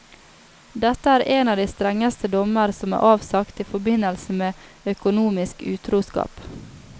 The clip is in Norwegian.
Dette er en av de strengeste dommer som er avsagt i forbindelse med økonomisk utroskap.